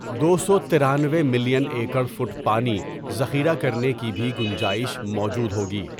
دو سو ترانوے ملین ایکڑفٹ پانی ذخیرہ کرنے کی بھی گنجائش موجود ہوگی.